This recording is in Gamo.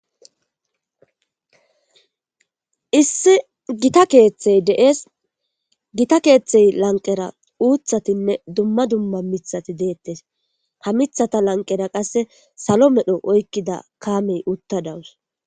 Issi gita keeththey de7es gita keeththey lanqera uuthatinne dumma dumma mithati deettes ha mithata lanqera qasse salo medho oykkida kaamey utta dawus